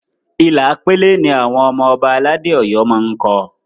Ilà pélé ni àwọn ọmọ Ọba aládé Ọ̀yọ́ máá ń kọ